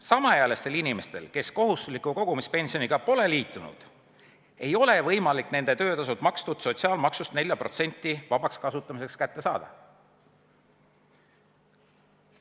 Samaealistel inimestel, kes kohustusliku kogumispensioniga pole liitunud, ei ole võimalik nende töötasult tasutud sotsiaalmaksust 4% vabaks kasutamiseks kätte saada.